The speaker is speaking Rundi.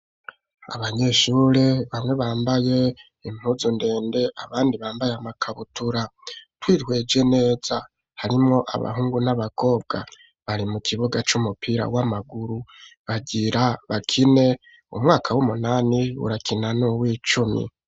Abanyeshure bamwe bambaye impuzu ndende, abandi bambaye amakabutura. Twihweje neza harimwo abahungu n'abakobwa. Bari mu kibuga c'umupira w'amaguru bagira bakine. Umwaka w'umunani urakina nuw'icumi.